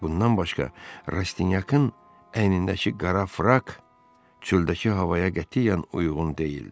Bundan başqa, Rastinyakın əynindəki qara frak çöldəki havaya qətiyyən uyğun deyildi.